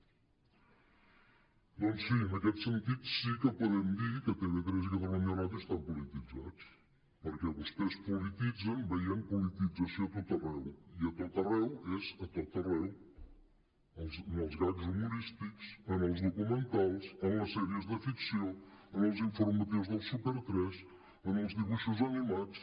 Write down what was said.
doncs sí en aquest sentit sí que podem dir que tv3 i catalunya ràdio estan po·lititzats perquè vostès els polititzen veient politització a tot arreu i a tot arreu és a tot arreu en els gags humorístics en els documentals en les sèries de ficció en els informatius del super3 en els dibuixos animats